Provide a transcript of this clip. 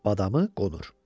Badamı, qonur.